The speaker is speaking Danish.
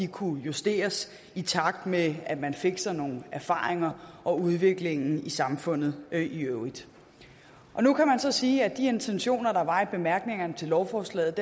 kunne justeres i takt med at man fik sig nogle erfaringer og udviklingen i samfundet i øvrigt nu kan man så sige at de intentioner der var i bemærkningerne til lovforslaget